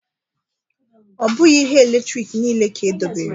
Ọ bụghị ihe eletrik niile ka edobere